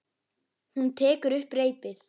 Hún tekur upp reipið.